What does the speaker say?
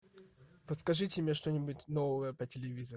подскажите мне что нибудь новое по телевизору